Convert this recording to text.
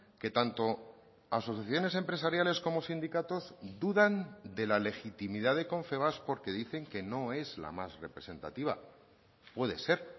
que tanto asociaciones empresariales como sindicatos dudan de la legitimidad de confebask porque dicen que no es la más representativa puede ser